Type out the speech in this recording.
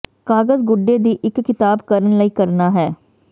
ਕਾਗਜ਼ ਗੁੱਡੇ ਦੀ ਇੱਕ ਕਿਤਾਬ ਕਰਨ ਲਈ ਕਰਨਾ ਹੈ